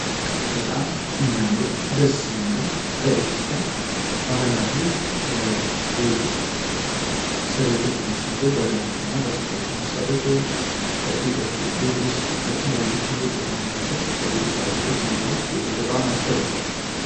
በጣም ከሚያምሩ ደስ የሚለው በኢትዮጵያ ባህላዊ የእጅ ስሪቶች የሚሠሩ የጅ ስፎእት የሚሰሩ ሲሆን ቤቶች የሚሰሩ በግራም የሚሰሩት ውስጥ ለተለያዩ ብዙ ጥቅም ያላቸው ውስጥ አገልግሎት ናቸው።